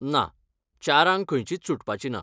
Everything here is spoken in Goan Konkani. ना. चारांंक खंयचीच सुटपाची ना.